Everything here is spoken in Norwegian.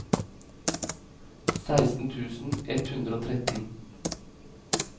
seksten tusen ett hundre og tretten